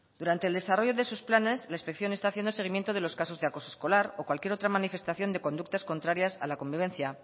durante el desarrollo de sus planes la inspección está haciendo seguimiento de los casos de acoso escolar o cualquier otra manifestación de conductas contrarias a la convivencia